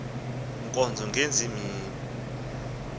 nkonzo ngezi mini